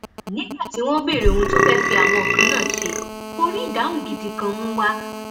nígbà tí wọn béèrè ohun tó fẹẹ fi àwọn nǹkan náà ṣe kó rí ìdáhùn gidi kan mú wa